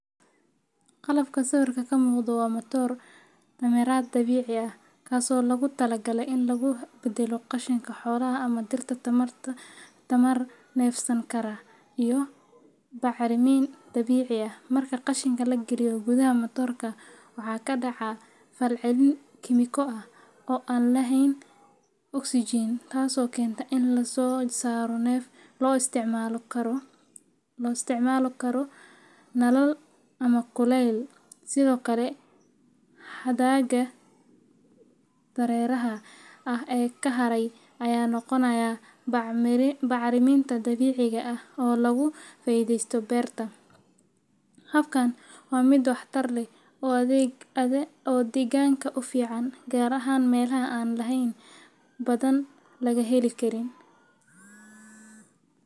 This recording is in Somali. Qalabka sawirka ka muuqda waa matoor tamareed dabiici ah, kaas oo loogu talagalay in lagu beddelo qashinka xoolaha ama dhirta tamar neefsan kara iyo bacrimin dabiici ah. Marka qashinka la geliyo gudaha matoor-ka, waxaa ka dhaca fal celin kiimiko ah oo aan lahayn oksijiin, taasoo keenta in la soo saaro neef loo isticmaali karo karin, nalal ama kuleyl. Sidoo kale, hadhaaga dareeraha ah ee ka haray ayaa noqonaya bacriminta dabiiciga ah oo lagu faa’iidaysto beerta. Habkan waa mid waxtar leh oo deegaanka u fiican, gaar ahaan meelaha aan laydh badan laga heli karin.